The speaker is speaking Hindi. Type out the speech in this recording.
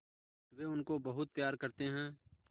वे उनको बहुत प्यार करते हैं